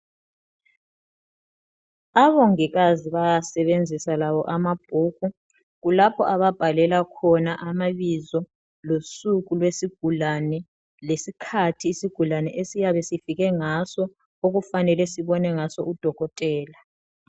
Abongikazi bayawasebenzisa labo amabhuku. Kulapho ababhalela khona amabizo losuku lwesigulane lesikhathi isigulane esiyabe sifike ngaso okufanele sibone ngaso udokotela.